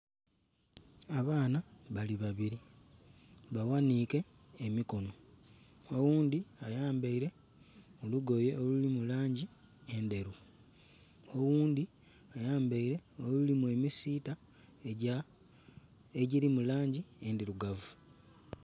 Abaana bali babiri baghanike emikono oghundhi ayambaire olugoye olulimu langi endheru oghundhi ayambaire olulimu emisiita egya egiri mu langi endhirugavu.